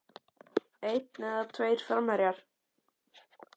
Einn eða tveir framherjar?